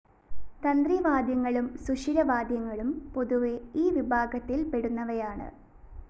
തന്ത്രി വാദ്യങ്ങളും സുഷിര വാദ്യങ്ങളും പൊതുവെ ഈ വിഭാഗത്തിൽ പെടുന്നവയാണ്